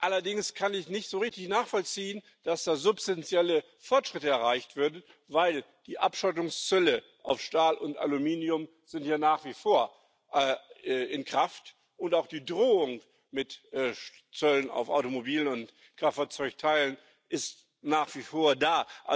Allerdings kann ich nicht so richtig nachvollziehen, dass da substanzielle Fortschritte erreicht werden, denn die Abschottungszölle auf Stahl und Aluminium sind ja nach wie vor in Kraft, und auch die Drohung mit Zöllen auf Automobil und Kraftfahrzeugteile ist nach wie vor da.